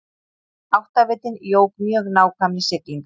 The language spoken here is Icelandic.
Áttavitinn jók mjög nákvæmni siglinga.